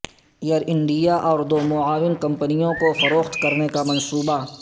Air India اور دو معاون کمپنیوں کو فروخت کرنے کا منصوبہ